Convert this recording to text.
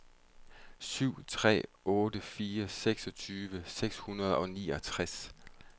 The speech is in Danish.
syv tre otte fire seksogtyve seks hundrede og nioghalvtreds